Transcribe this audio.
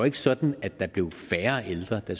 ikke sådan at der blev færre ældre da